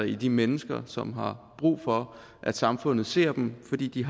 i de mennesker som har brug for at samfundet ser dem fordi de